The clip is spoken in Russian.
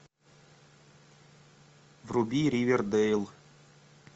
вруби ривердейл